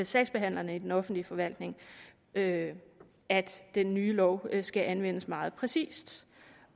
sagsbehandlere i den offentlige forvaltning at at den nye lov skal anvendes meget præcist